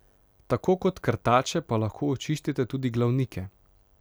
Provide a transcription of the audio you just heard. Tako kot krtače pa lahko očistite tudi glavnike.